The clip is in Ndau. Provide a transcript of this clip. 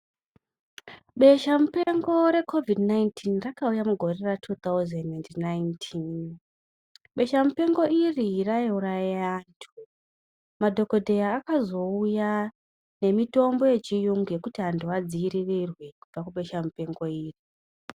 Besha mupengo recovid 19 rakauya mugore ra2009 besha mupengo iri raiuraya vantu madhokodheya akazouya nemitombo yechirungu yekuti vantu vadzivirire kubva kubesha mupengo iri.